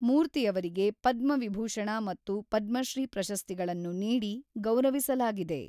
ಮೂರ್ತಿಯವರಿಗೆ ಪದ್ಮವಿಭೂಷಣ ಮತ್ತು ಪದ್ಮಶ್ರೀ ಪ್ರಶಸ್ತಿಗಳನ್ನು ನೀಡಿ ಗೌರವಿಸಲಾಗಿದೆ.